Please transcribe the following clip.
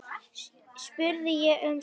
spurði ég um síðir.